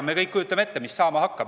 Me kõik kujutame ette, mis saama hakkab.